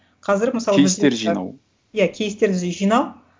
қазір мысалы иә кейстерді жинау